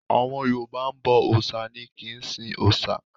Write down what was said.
Àwọn Yorùbá ń bọ òòṣà ni a kìí sin òòṣà.